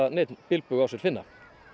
neinn bilbug á sér finna